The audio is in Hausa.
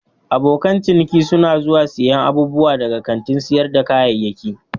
Abokan ciniki suna zuwa siyan abubuwa daga kantin sayar da kayayyaki.